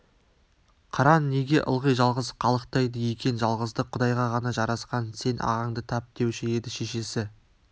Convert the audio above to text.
қыран неге ылғи жалғыз қалықтайды екен жалғыздық құдайға ғана жарасқан сен ағаңды тап деуші еді шешесі